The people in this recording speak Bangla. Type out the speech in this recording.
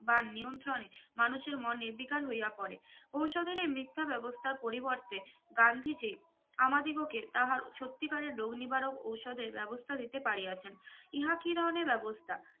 বা নিয়ন্ত্রণে মানুষের মনে বেকার হইয়া পরে ওষুধ এর মিথ্যা ব্যবস্থার পরিবর্তে গান্ধীজি আমাদিগকে তাহার সত্যিকারের রোগ নিবারক ওষুধের ব্যবস্থা দিতে পারিয়াছেন ইহা কি ধরনের ব্যবস্থা